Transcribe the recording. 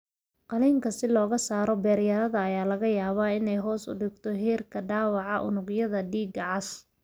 Qaliinka si looga saaro beeryarada ayaa laga yaabaa inay hoos u dhigto heerka dhaawaca unugyada dhiigga cas.